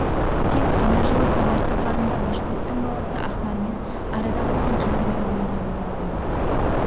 тек ана жылы самар сапарында башқұрттың баласы ақмармен арада болған әңгіме ойына оралды